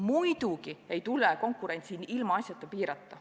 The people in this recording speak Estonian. Muidugi ei tule konkurentsi ilmaasjata piirata.